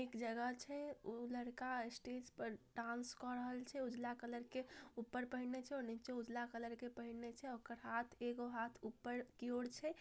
एक जगह छे उ लड़का के स्टेज पर डांस कर रहल छे उजला कलर के ऊपर पहनले छे नीचे उजर कलर पेहनले छे ओकर हाथ एगो हाथ ऊपर की ओर छे।